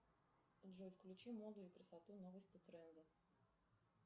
джой включи моду и красоту новости тренды